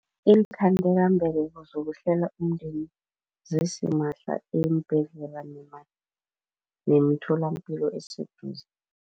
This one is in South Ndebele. Iinkhandelambeleko zokuhlela umndeni zisimahla eembhedlela nemitholampilo eseduze.